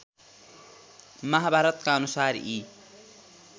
महाभारतका अनुसार यी